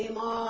Kimal?